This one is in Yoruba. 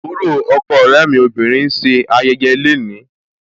Àbúrò ọkọ ọ̀rẹ́ mi obìnrin ń ṣe ayẹyẹ le ni.